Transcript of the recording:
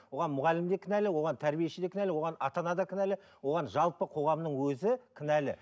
оған мұғалім де кінәлі оған тәрбиеші де кінәлі оған ата ана да кінәлі оған жалпы қоғамның өзі кінәлі